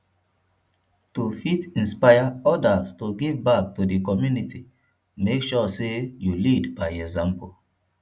to fit inspire others to give back to di community make sure say you lead by example